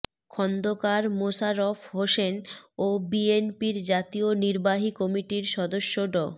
খন্দকার মোশাররফ হোসেন ও বিএনপির জাতীয় নির্বাহী কমিটির সদস্য ড